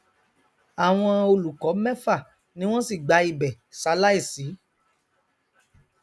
àwọn olùkọ mẹfà ni wọn sì gba ibẹ ṣaláìsí